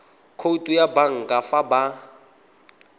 khoutu ya banka fa ba